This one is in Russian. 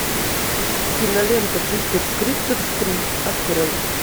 кинолента джиперс криперс три открой